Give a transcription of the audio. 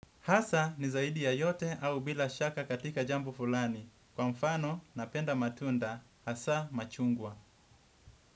Hasa ni zaidi ya yote au bila shaka katika jambo fulani. Kwa mfano, napenda matunda hasaa machungwa.